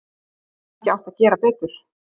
Hefði hann ekki átt að gera betur?